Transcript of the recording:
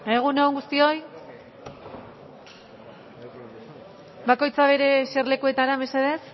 egun on guztioi bakoitza bere eserlekuetara mesedez